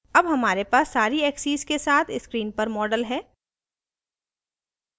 अब हमारे पास सारी axes के साथ screen पर model है